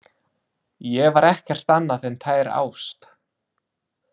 Ég var ekkert annað en tær ást.